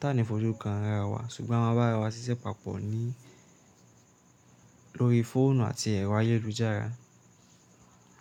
Tàní fojú kan ará wá, ṣùgbọ́n a máa bá ara wa ṣiṣẹ́ papọ̀ ní lórí fóònù àti ẹ̀rọ ayélujára.